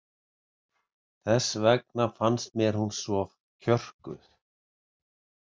Þess vegna fannst mér hún svo kjörkuð.